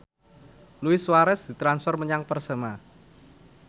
Luis Suarez ditransfer menyang Persema